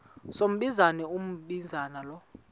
sombinza umbinza lo